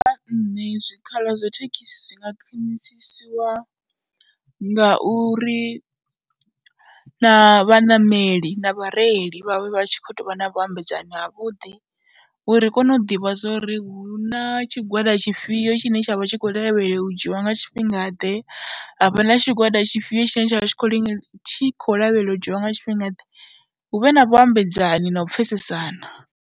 Nṋe zwikhala zwa thekhisi zwi nga khwinisiwa ngauri na vhaṋameli na vhareili vha vhe vha tshi khou tou vha na vhuambedzano havhuḓi uri ri kone u ḓivha zwo ri hu na tshigwada tshifhio tshine tsha vha tshi khou lavheleliwa u dzhiwa nga tshifhingaḓe, havha na tshigwada tshifhio tshine tsha vha tshi khou li tshi khou lavheleliwa u dzhiiwa nga tshifhingaḓe, hu vhe na vhaambedzani na u pfhesesana.